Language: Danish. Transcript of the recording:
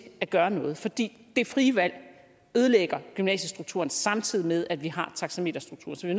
at gøre noget for det det frie valg ødelægger gymnasiestrukturen samtidig med at vi har taxameterstrukturen så vi